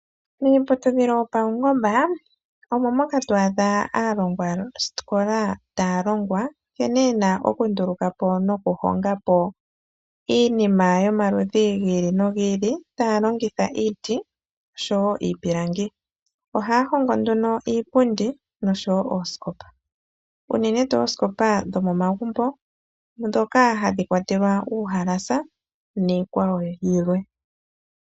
Miiputudhilo yopaungomba omo moka to adha aalongwaskola taya longwa nkene yena okunduluka po nokuhongapo iinima yomaludhi gi ili no gi ili taya longitha iiti noshowo iipilangi. Ohaya hongo nduno iipundi noshowo ooskopa. Unene tuu ooskopa dho momagumbo ndhoka hadhi kwatelwa uuhelasa niikwawo yilwe.